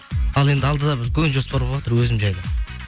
ал енді алдыда бір үлкен жоспар болыватыр өзім жайлы